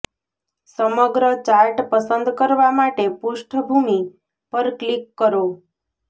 સમગ્ર ચાર્ટ પસંદ કરવા માટે પૃષ્ઠભૂમિ પર ક્લિક કરો